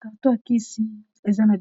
Carto ya kisi eza na